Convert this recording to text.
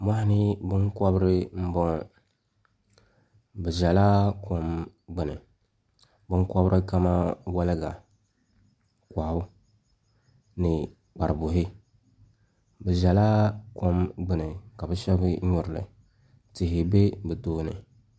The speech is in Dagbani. Mɔɣuni binkɔbiri ni bɔŋɔ bi zɛla kom gbuni binkɔbiri kamani wolga mɔɣu ni kparibuhi bi zɛla kom gbuni ka bi shɛba mi nyuri li tihi bɛ bi tooni.